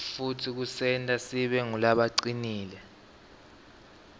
futsi kusenta sibe ngulabacinile